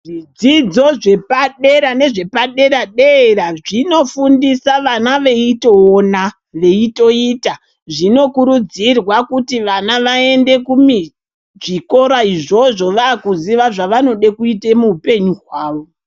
Zvidzidzo zvepadera nezvepadera-dera zvinofundisa vana veitoona veitoita zvinokurudzirwa kuti vana vaende kuzvikora izvozvo vakuziva zvavanoda kuite muhupenyu hwavo.